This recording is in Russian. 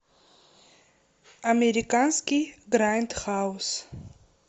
американский грайндхаус